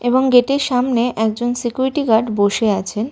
এবং গেটের সামনে একজন সিকিউরিটি গার্ড বসে আছেন।